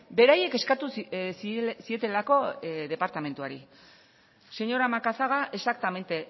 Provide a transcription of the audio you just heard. beraiek eskatu zietelako departamentuari señora macazaga exactamente